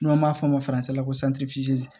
N'an b'a fɔ o ma la ko